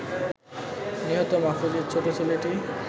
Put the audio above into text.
নিহত মাহফুজের ছোট ছেলেটি